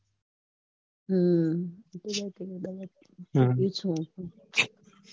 હમ